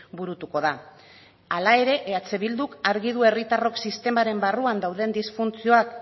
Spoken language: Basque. burutuko da hala ere eh bilduk argi du herritarrok sistemaren barruan dauden disfuntzioak